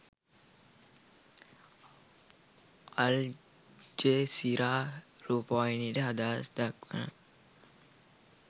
Al Jazeera රූපවාහිනියට අදහස් දක්වන